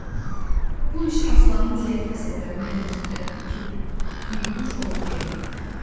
Bu iş Aslanın zəif əsəblərini elə titrətdi ki, bihuş olub yerə yıxıldı.